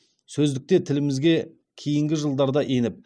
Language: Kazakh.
сөздікте тілімізге кейінгі жылдарда еніп